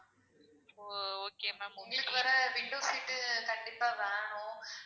ஓ okay ma'am உங்களுக்கு வேற window seat கண்டிப்பா வேணும்